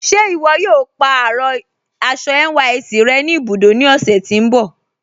Ṣe iwọ̀ yóò pa arọ aṣọ NYSC rẹ̀ ni ibudó ni ọ̀sẹ̀ tí n bọ̀?